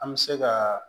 An bɛ se ka